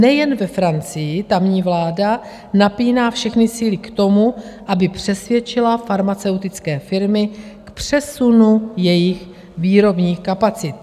Nejen ve Francii tamní vláda napíná všechny síly k tomu, aby přesvědčila farmaceutické firmy k přesunu jejich výrobních kapacit.